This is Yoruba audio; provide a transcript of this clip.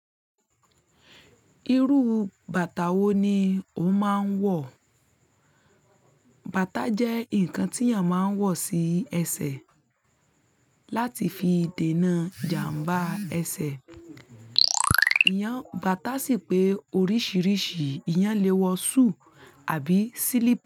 Irú bàtà wo ni o máa ń wọ̀? Bàtà jẹ́ ǹkan tí èèyàn máa ń wọ̀ sí ẹsẹ̀ láti fi dènà ìjàmbá ẹsẹ̀. Ìyàn bàtà sì pé oríṣiríṣi ìyàn lè wọ súù àbí sílí́pù.